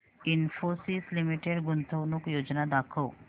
Infosys limited गुंतवणूक योजना दाखव